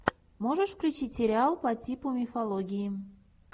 можешь включить сериал по типу мифологии